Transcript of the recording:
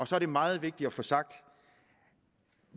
så er det meget vigtigt at få sagt at